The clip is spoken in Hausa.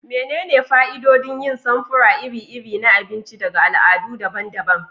Menene fa'idodin yin samfura iri-iri na abinci daga al'adu daban-daban?